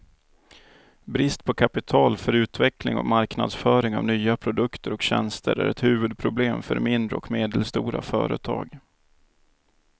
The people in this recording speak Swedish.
Brist på kapital för utveckling och marknadsföring av nya produkter och tjänster är ett huvudproblem för mindre och medelstora företag.